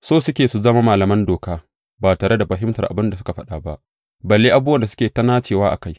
So suke su zama malaman doka, ba tare da fahimtar abin da suke faɗa ba, balle abubuwan da suke ta nacewa a kai.